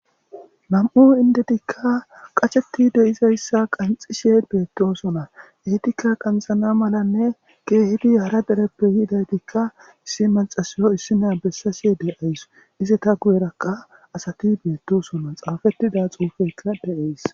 Nam'u indetikka qacheti deizayssa qanxishe beettosona ehitikka qanxana malanne geehidi hara dereppe yiidaytikka issi malxasiyo issina bessase de'ays ise ta guyerakka asati beettosona xaafettida xuufekka deays